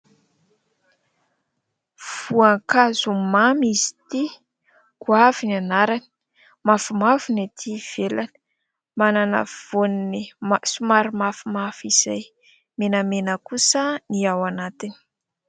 Voankazo mamy izy ity, goavy ny anarany. Mavomavo ny aty ivelany, manana voaniny somary mafimafy izay, menamena kosa ny ao anatiny.